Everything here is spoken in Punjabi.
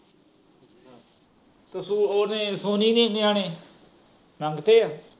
ਤੁਸੀਂ ਉਹਦੇ ਦੇ ਨਿਆਣੇ ਮੰਗ ਤੇ।